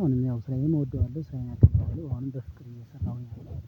አሁንም ያው ስራዬን እወደዋለሁ ስራዬን አከብረዋለሁ ነው በአሁንም በፍቅር ነው እየሰራሁኝ ያለሁት።